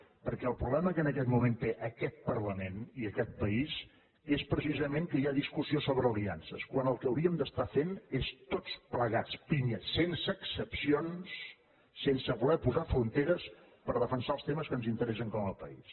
perquè el problema que en aquest moment té aquest parlament i aquest país és precisament que hi ha discussió sobre aliances quan el que hauríem d’estar fent és tots plegats pinya sense excepcions sense voler posar fronteres per defensar els temes que ens interessen com a país